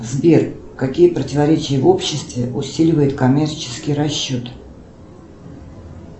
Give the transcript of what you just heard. сбер какие противоречия в обществе усиливают коммерческий расчет